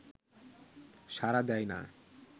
সাড়া দেয় না